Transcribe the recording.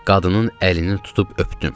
Qadının əlini tutub öptüm.